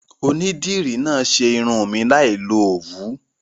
Onídìrí náà ṣe irun mi láì lo Òwú.